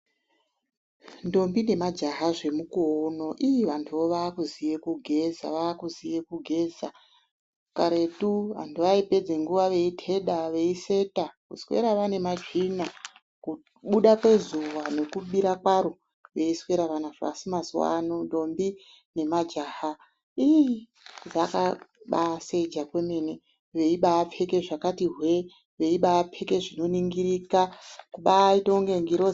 Ndombi nemajaha zvemukuwo uno ii vantuvo vaakuziye kugeza, vaakuziye kugeza. Karetu vantu vaipedze nguwa veitheda, veiseta, kuswera vane matsvina. Kubuda kwezuwa nekubira kwaro veiswera vanazvo, asi mazuwa ano ndombi nemajaha ii zvakabaaseja kwemene veibaapfeke zvakati hwe. Veibaapfeke zvinoningirika, kubaaite inga ngirozi.